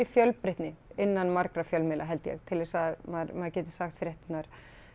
fjölbreytni innan margra fjölmiðla held ég til þess að maður geti sagt fréttirnar